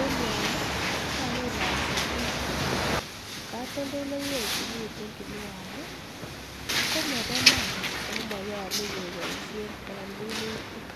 en yoon ko kakinaisi biik kflee katoldoleiwechu miten kinuani ko moboo iman oo monyolu keboishen en minutik.